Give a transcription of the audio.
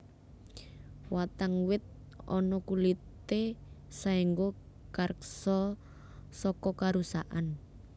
Watang wit ana kulité saéngga karksa saka karusakan